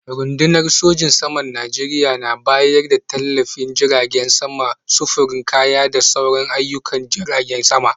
Rundunar sojin saman Najeriya na bayar da tallafin jiragen sama, sufurin kaya da sauran ayyukan jiragen sama.